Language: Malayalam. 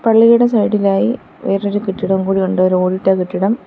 പള്ളിയുടെ സൈഡിലായി വേറൊരു കെട്ടിടവും കൂടിയുണ്ട് ഒരു ഓടിട്ട കെട്ടിടം.